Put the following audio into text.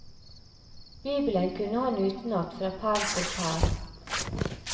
Bibelen kunne han utenat fra perm til perm.